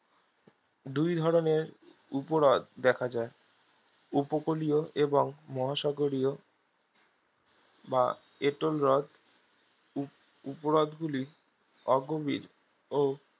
দুই ধরণের উপহ্রদ দেখা যায় উপকূলীয় এবং মহাসাগরীয় বা এটলহ্রদ উপ উপহ্রদগুলি অগভীর ও